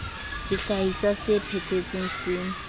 sehlahiswa se phethe tsweng se